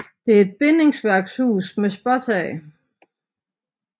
Det er et bindingsværkshus med spåntag